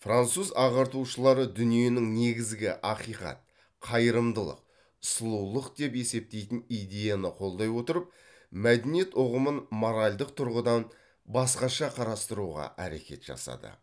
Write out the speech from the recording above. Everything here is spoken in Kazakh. француз ағартушылары дүниенің негізгі ақиқат қайырымдылық сұлулық деп есептейтін идеяны қолдай отырып мәдениет ұғымын моральдық тұрғыдан басқаша қарастыруға әрекет жасады